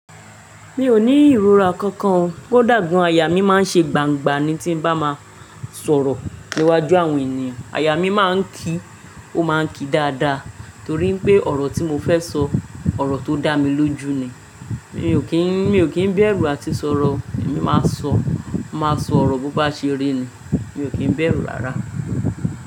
Mi ò ní ìrora kankan, kódà gàn aya mi máa ń ṣe gbangba ni tí n bá máa sọ̀rọ̀ níwájú àwọn ènìyàn. Aya mi máa ń ki, ó máa ń ki dáadáa torí pé ọ̀rọ̀ tí mo fẹ́ sọ, ọ̀rọ̀ tó dá mi lójú ni. Mi ò kín, mi ò kín béèrú àti sọ̀rọ̀, èmi máa sọ, máa sọ ọ̀rọ̀ bó bá ṣe rí ni, mi ò kín béèrú rárá.